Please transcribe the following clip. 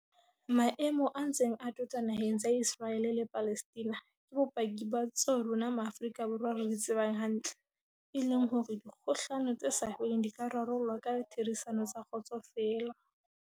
Maemo a ntseng a tota na heng tsa Iseraele le Palestina ke bopaki ba tseo rona Ma afrika Borwa re di tsebang hantle, e leng hore dikgohlano tse sa feleng di ka rarollwa ka ditherisano tsa kgotso feela.